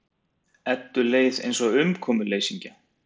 Eddu leið eins og umkomuleysingja.